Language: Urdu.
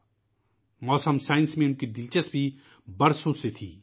وہ کئی سالوں سے محکمہ موسمیات میں دلچسپی لے رہے تھے